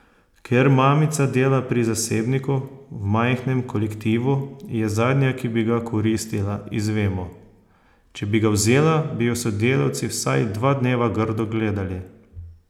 Ker mamica dela pri zasebniku, v majhnem kolektivu, je zadnja, ki bi ga koristila, izvemo: "Če bi ga vzela, bi jo sodelavci vsaj dva dneva grdo gledali.